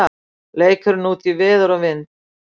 Leikurinn útí veður og vind